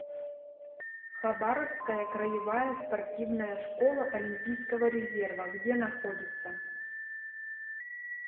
хабаровская краевая спортивная школа олимпийского резерва где находится